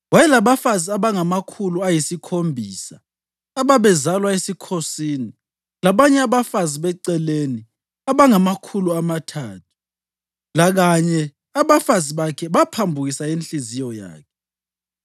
Wayelabafazi abangamakhulu ayisikhombisa ababezalwa esikhosini labanye abafazi beceleni abangamakhulu amathathu; lakanye abafazi bakhe baphambukisa inhliziyo yakhe.